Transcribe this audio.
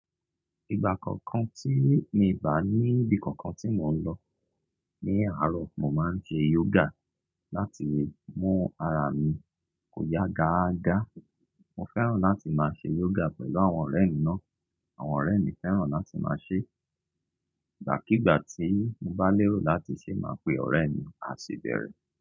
Ìgbà kọọ̀kan tí mi bà níbí kankan tí mò ń lọ ní àárọ̀, mò ń ṣe yoga láti mú ara mi kò yá gaaga. Mo fẹ́ràn láti máa ṣe yoga pẹ̀lú àwọn ọ̀rẹ́ mi náà. Àwọn ọ̀rẹ́ mi fẹ́ràn láti máa ṣe. Ìgbàkígbà tí mo bá lérò láti ṣe, màá pe ọ̀rẹ́ mi, a sì bẹ̀rẹ̀